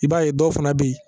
I b'a ye dɔw fana bɛ yen